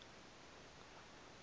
e be e se fela